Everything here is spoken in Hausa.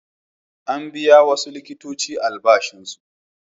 An biya wasu likitoci albashinsu.